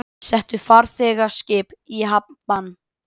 Settu farþegaskip í hafnbann